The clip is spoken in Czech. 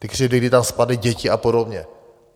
Ty křivdy, kdy tam spadly děti a podobně.